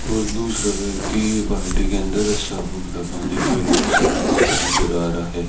और दूसरा व्यक्ति बाल्टी के अंदर साबुन का पानी लिए हुए साफ करता नजर आ रहा है।